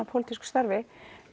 pólitísku starfi